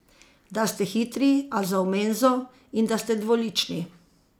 Da ste hitri, a za v menzo, in da ste dvolični.